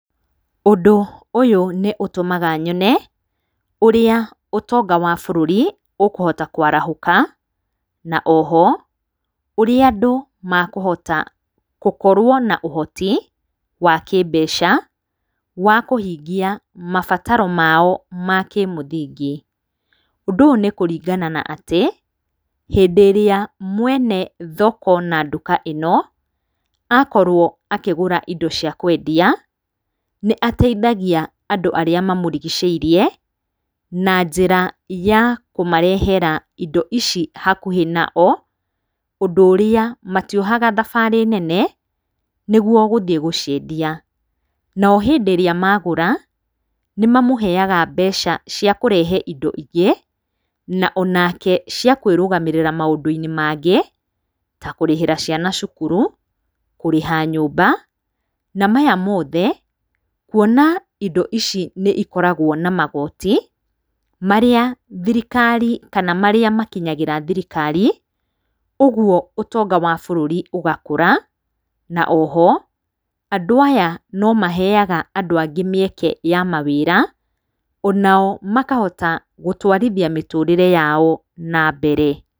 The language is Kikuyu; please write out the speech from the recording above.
ũndũ ũyũ nĩ ũtũmaga nyone, ũrĩa ũtonga wa bũrũri ũkũhota kwarahũka, na oho, ũrĩa andũ makũhota gũkorwo na ũhoti wa kĩmbeca, wa kũhingia mabataro mao ma kĩmũthingi, ũndũ ũyũ nĩ kũringana na atĩ, hĩndĩrĩa mwene thoko, na nduka ĩno, akorwo akĩgũra indo cia kwendia, nĩ ateithagia andũ arĩa mamũrigicĩirie, na njĩra ya kũmarehera indo ici hakuhĩ nao, ũndũ ũrĩa matiohaga thabarĩ nene, nĩguo gũthiĩ gũciendia, nao hĩndĩ ĩrĩa magũra, nĩ mamũheyaga mbeca cia kũrehe indo ingĩ, na onake cia kwĩrũgamĩrĩra maũndũ-inĩ mangĩ, ta kũrĩhĩra ciana cukuru, kũrĩha nyũmba, na maya mothe kuona indo ici nĩ ikoragwo na magoti, marĩa thirikari, kana marĩa makiyagĩra thirikari, ũguo ũtonga wa bũrũri ũgakũra, na oho, andũ aya no maheyaga andũ angĩ mĩeke ya mawĩra, onao makahota gũtwarithia mĩtũrĩre yao na mbere.